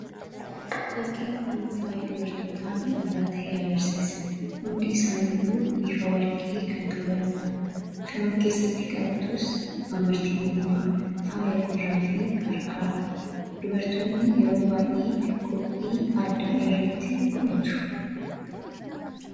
fakkiin kun faaya dubartoota midhagaa ta'ee agarsiisa hundi isaan iyyuu biifa warqii kan qabandha kan of keessatti qabatuus amartii mormaa faayya gurraa fi harkaadha dubartoonni yeroo waay'ee qophii addaa irratti godhatu